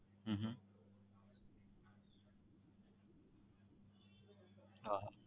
હમ હા હા